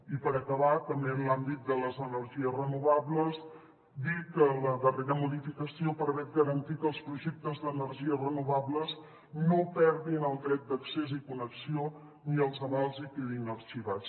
i per acabar també en l’àmbit de les energies renovables dir que la darrera modificació permet garantir que els projectes d’energies renovables no perdin el dret d’accés i connexió ni els avals i quedin arxivats